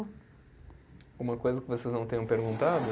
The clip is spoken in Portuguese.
Alguma coisa que vocês não tenham perguntado?